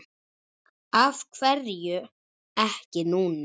Af hverju ekki núna?